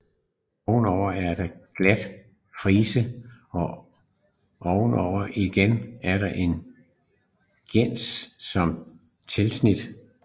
Ovenover er der en glat frise og ovenover igen er der en geison med tandsnit